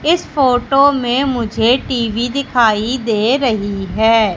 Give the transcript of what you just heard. इस फोटो में मुझे टी_वी दिखाई दे रही है।